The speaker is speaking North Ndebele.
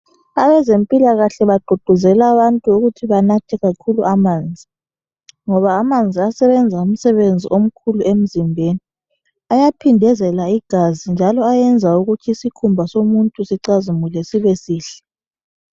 Abezempilakahle bagqugquzela abantu ukuthi benathe kakhulu amanzi ngoba amanzi asebenza umsebenzi omkhulu emzimbeni ayaphindezela igazi njalo ayenza ukuthi isikhumba somuntu sicazimule sibe sihle.